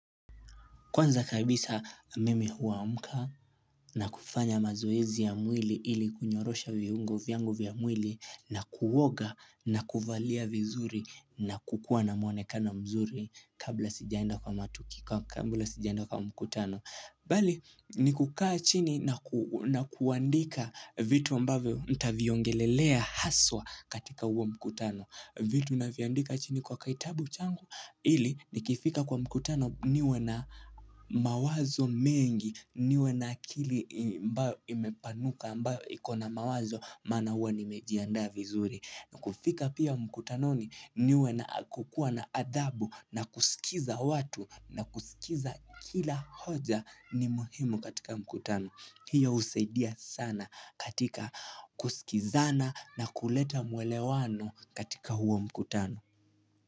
Kwanza kabisa mimi huamka na kufanya mazoezi ya mwili ili kunyorosha viungo vyangu vya mwili na kuoga na kuvalia vizuri na kukuwa na mwonekano mzuri kabla sijaenda kwa mkutano. Bali ni kukaa chini na kuandika vitu ambavyo nitaviongelelea haswa katika huo mkutano. Vitu navyandika chini kwa kaitabu changu ili nikifika kwa mkutano niwe na mawazo mengi niwe na akili imepanuka ambayo ikona mawazo maana huwa nimejiandaa vizuri. Na kufika pia mkutanoni niwe na kukua na adhabu na kusikiza watu na kusikiza kila hoja ni muhimu katika mkutano. Hiyo husaidia sana katika kusikizana na kuleta mwelewano katika huo mkutano.